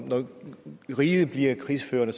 riget bliver krigsførende